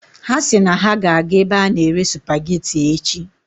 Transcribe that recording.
Ha si na ha ga-aga ebe a na-ere supageti echi.